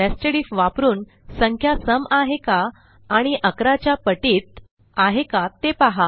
nested IF वापरून संख्या सम आहे का आणि 11 च्या पटीत आहे का ते पहा